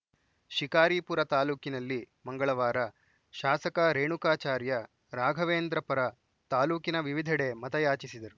ಶಿಕಾರಿಪುರ ತಾಲೂಕಿನಲ್ಲಿ ಮಂಗಳವಾರ ಶಾಸಕ ರೇಣುಕಾಚಾರ್ಯ ರಾಘವೇಂದ್ರ ಪರ ತಾಲೂಕಿನ ವಿವಿಧೆಡೆ ಮತಯಾಚಿಸಿದರು